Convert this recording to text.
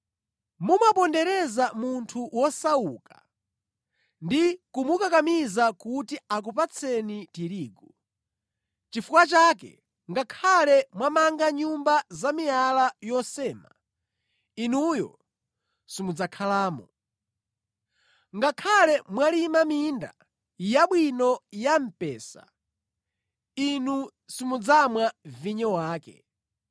Mumapondereza munthu wosauka ndi kumukakamiza kuti akupatseni tirigu. Nʼchifukwa chake, ngakhale mwamanga nyumba zamiyala yosema, inuyo simudzakhalamo. Ngakhale mwalima minda yabwino ya mphesa, inu simudzamwa vinyo wake.